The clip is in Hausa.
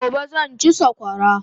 Gobe zan chi sakwara